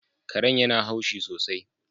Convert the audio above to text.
Karen yana haushi sosai